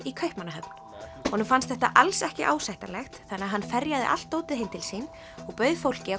í Kaupmannahöfn honum fannst þetta alls ekki ásættanlegt þannig að hann ferjaði allt dótið heim til sín og bauð fólki